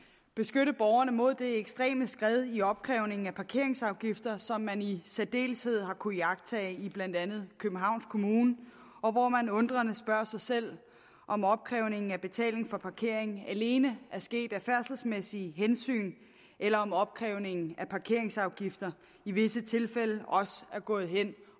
beskytte borgerne mod det ekstreme skred i opkrævningen af parkeringsafgifter som man i særdeleshed har kunnet iagttage i blandt andet københavns kommune og hvor man undrende spørger sig selv om opkrævningen af betaling for parkering alene er sket af færdselsmæssige hensyn eller om opkrævningen af parkeringsafgifter i visse tilfælde også er gået hen